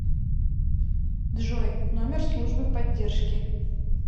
джой номер службы поддержки